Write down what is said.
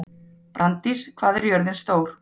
Branddís, hvað er jörðin stór?